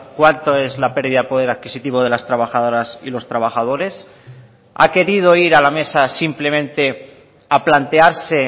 cuánto es la pérdida de poder adquisitivo de las trabajadoras y los trabajadores ha querido ir a la mesa simplemente a plantearse